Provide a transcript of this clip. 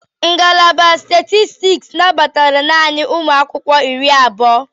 Ngalaba Statistiks nabatara naanị ụmụ akwụkwọ iri abụọ.